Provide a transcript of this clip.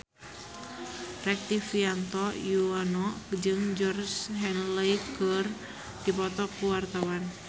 Rektivianto Yoewono jeung Georgie Henley keur dipoto ku wartawan